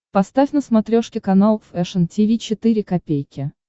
поставь на смотрешке канал фэшн ти ви четыре ка